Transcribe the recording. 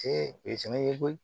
o ye fɛnɛ ye koyi